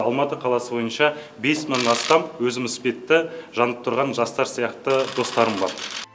алматы қаласы бойынша бес мыңнан астам өзіміз іспетті жанып тұрған жастар сияқты достарым бар